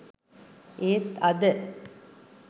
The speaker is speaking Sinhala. ඒත් අද